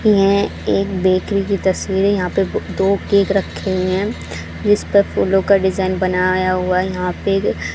यह एक बेकरी की तस्वीर है यहां पे बोह दो केक रखे हुए है जिसपे फूलो का डिजाइन बनाया गया है यहां पे --